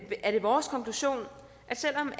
er det vores konklusion selv om